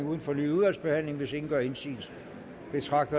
uden fornyet udvalgsbehandling hvis ingen gør indsigelse betragter